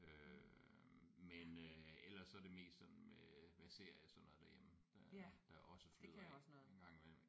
Øh men øh ellers så er det mest sådan med med serier og sådan noget derhjemme øh der også fylder en gang imellem